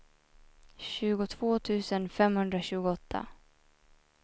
tjugotvå tusen femhundratjugoåtta